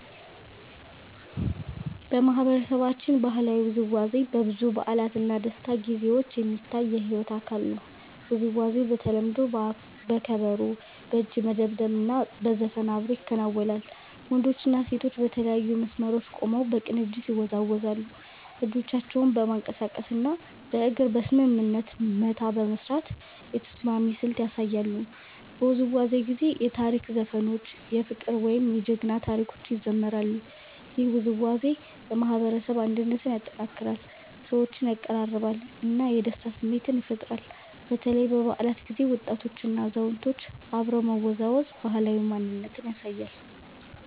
በማህበረሰባችን ባህላዊ ውዝዋዜ በብዙ በዓላት እና ደስታ ጊዜዎች የሚታይ የሕይወት አካል ነው። ውዝዋዜው በተለምዶ በከበሮ፣ በእጅ መደብደብ እና በዘፈን አብሮ ይከናወናል። ወንዶችና ሴቶች በተለያዩ መስመሮች ቆመው በቅንጅት ይወዛወዛሉ፣ እጆቻቸውን በማንቀሳቀስ እና በእግር በስምምነት መታ በመስራት የተስማሚ ስልት ያሳያሉ። በውዝዋዜው ጊዜ የታሪክ ዘፈኖች፣ የፍቅር ወይም የጀግና ታሪኮች ይዘምራሉ። ይህ ውዝዋዜ የማህበረሰብ አንድነትን ያጠናክራል፣ ሰዎችን ያቀራርባል እና የደስታ ስሜት ይፈጥራል። በተለይ በበዓላት ጊዜ ወጣቶችና አዛውንቶች አብረው መወዛወዝ ባህላዊ ማንነትን ያሳያል።